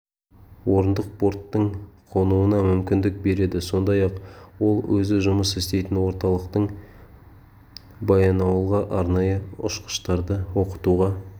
орындық борттың қонуына мүмкіндік береді сондай-ақ ол өзі жұмыс істейтін орталықтың баянауылға арнайы ұшқыштарды оқытуға